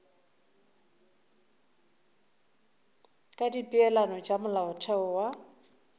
ka dipeelano tša molaotheo wa